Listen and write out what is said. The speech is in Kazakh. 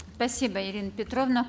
спасибо ирина петровна